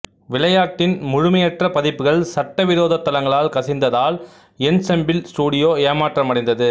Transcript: விளையாட்டின் முழுமையற்ற பதிப்புகள் சட்டவிரோத தளங்களால் கசிந்ததால் என்செம்பிள் ஸ்டுடியோ ஏமாற்றமடைந்தது